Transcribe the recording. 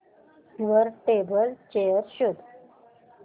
वर table chair शोध